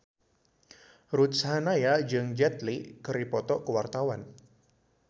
Ruth Sahanaya jeung Jet Li keur dipoto ku wartawan